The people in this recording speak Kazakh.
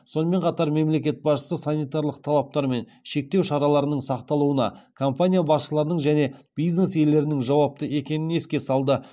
сонымен қатар мемлекет басшысы санитарлық талаптар мен шектеу шараларының сақталуына компания басшыларының және бизнес иелерінің жауапты екенін еске салды